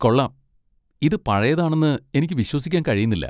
കൊള്ളാം, ഇത് പഴയതാണെന്ന് എനിക്ക് വിശ്വസിക്കാൻ കഴിയുന്നില്ല.